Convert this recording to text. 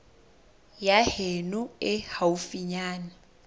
ya heno e haufinyana ya